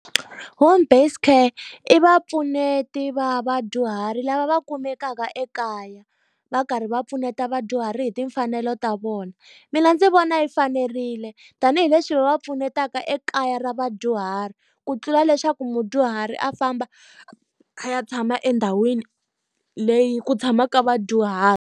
Home based care i vapfuneti va vadyuhari lava va kumekaka ekaya, va karhi va pfuneta vadyuhari hi timfanelo ta vona. Mina ndzi vona yi fanerile. Tanihi leswi va va pfunetaka ekaya ra vadyuhari ku tlula leswaku mudyuhari a famba a ya tshama endhawini leyi ku tshamaka vadyuhari.